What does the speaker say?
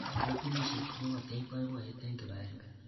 Katunisyet ko ketech boiboiyet eng kibagenge.